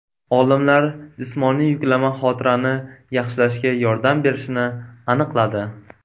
Olimlar jismoniy yuklama xotirani yaxshilashga yordam berishini aniqladi.